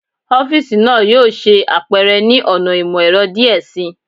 Ọfiisi naa yoo ṣe apẹrẹ ni ọna imọ-ẹrọ diẹ sii